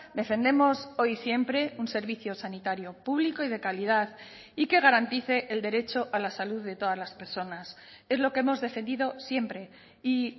defendemos hoy y siempre un servicio sanitario público y de calidad y que garantice el derecho a la salud de todas las personas es lo que hemos defendido siempre y